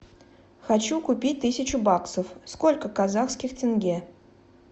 хочу купить тысячу баксов сколько казахских тенге